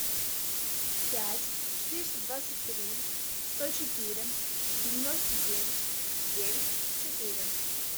пять четыреста двадцать три сто четыре девяносто девять девять четыре